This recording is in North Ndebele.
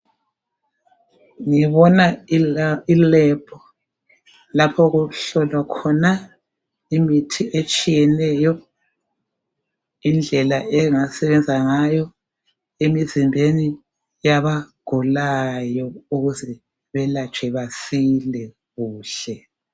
Ngibona ilab lapho okuhlolwa khona imithi etshiyeneyo indlela engasebenza ngayo emizimbeni yabagulayo ukuze belatshwe basile kuhle